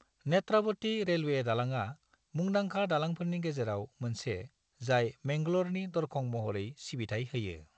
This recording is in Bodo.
नेत्रावती रेलवे दालांआ मुंदांखा दालांफोरनि गेजेराव मोनसे जाय मैंगल'रनि दरखं महरै सिबिथाइ होयो।